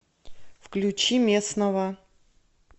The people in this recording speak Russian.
включи местного